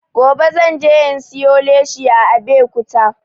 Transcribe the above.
Gobe zan je in siyo leshi a abekuta